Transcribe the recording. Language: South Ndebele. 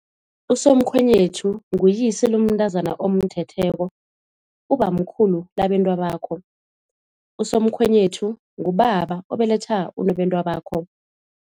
Usomkhwenyethu nguyise lomntazana omthetheko, ubamkhulu labentwabakho. Usomkhwenyethu ngubaba obeletha unobentwabakho.